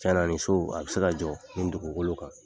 Cɛn na nin so a bɛ se ka jɔ nin dugukolo kan.